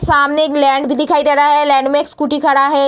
सामने एक लैंड भी दिखाई दे रहा है लैंड में एक स्कूटी खड़ा है।